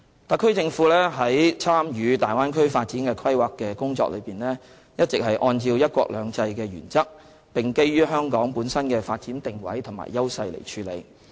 特區政府在參與大灣區發展的規劃工作時，一直是按照"一國兩制"的原則並基於香港本身的發展定位和優勢來處理。